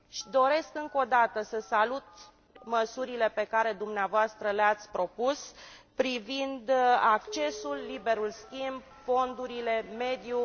Doresc încă o dată să salut măsurile pe care dumneavoastră le ați propus privind accesul, liberul schimb, fondurile, mediul